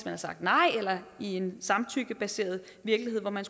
har sagt nej og i en samtykkebaseret virkelighed hvor man